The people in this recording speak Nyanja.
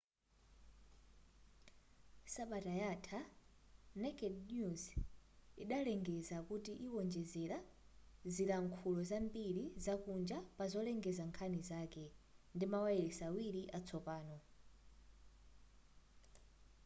sabata yatha naked news idalengeza kuti iwonjezera zilankhulo zambiri zakunja pa zolengeza nkhani zake ndimawayilesi awiri atsopano